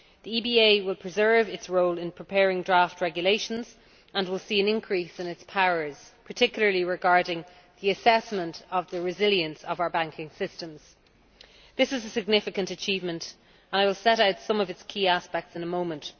The EBA will preserve its role in preparing draft regulations and will see an increase in its powers, particularly regarding the assessment of the resilience of our banking systems. This is a significant achievement, and I will set out some of its key aspects in a moment.